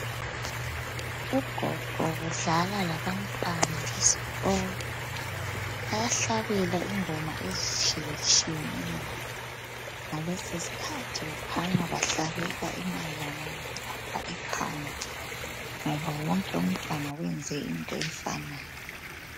Ugogo udlala labantwana besikolo. Bayahlabela ingoma ezitshiyetshiyeneyo. Ngalesi sikhathi kukhanya bahlabela emayelana ngokubamba ikhanda ngoba wonke umntwana wenze into efanayo.